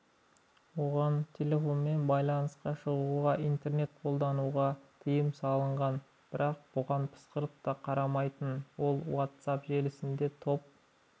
оған телефонмен байланысқа шығуға интернет қолдануға тыйым салынған бірақ бұған пысқырып қарамайтын ол уатсап желісінде топ